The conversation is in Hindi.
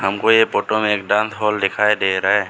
हमको ये फोटो में एक डांस हॉल दिखाई दे रहा है।